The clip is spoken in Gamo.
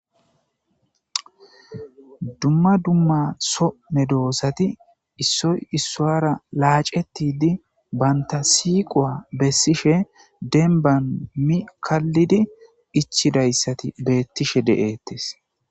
dumma dumma so medoosati issoy issuwara laacetidi banta siiqowa bessishe denban mi kallidi ichidayssati beettishe de7ettes.